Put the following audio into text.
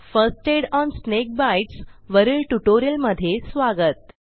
first aid on snake bites वरील ट्युटोरियलमधे स्वागत